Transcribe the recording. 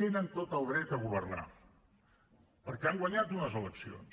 tenen tot el dret a governar perquè han guanyat unes eleccions